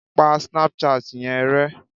Pa Snapchat yẹn rẹ!